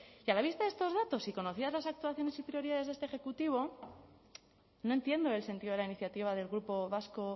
que a la vista de estos datos y conocidas las actuaciones y prioridades de este ejecutivo no entiendo el sentido de la iniciativa del grupo vasco